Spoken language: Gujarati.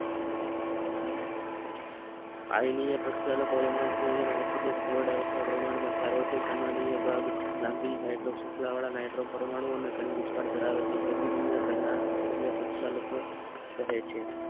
આનીય પ્રક્ષાલકો માં પ્રમાણમાં સારો હોય છે ગનનીય ભાગ લાંબી હાઇડ્રો શૃંખલા વાળા નાઈટ્રો પરમાણુ ને ગણ વિસ્તાર ધરાવે છે તેથી તેને ગનનીય પ્રક્ષાલકો કહે છે